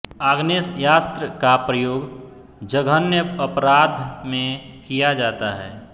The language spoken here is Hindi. आग्नेयास्त्र का प्रयोग जघन्य अपराध में किया जाता है